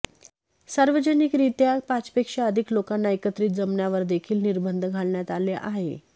सार्वजनिकरित्या पाचपेक्षा अधिक लोकांना एकत्रित जमण्यावरदेखील निर्बंध घालण्यात आले आहे